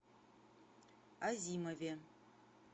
азимове